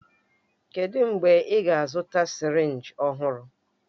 Kedụ mgbe ị ga-azụta sirinji ọhụrụ?